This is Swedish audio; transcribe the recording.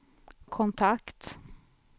kontakt